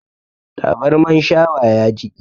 Tabarman shawa ya jiƙe